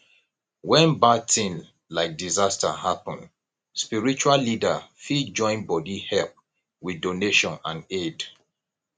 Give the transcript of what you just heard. when bad thing like disaster happen spiritual leader fit join bodi help with donation and aid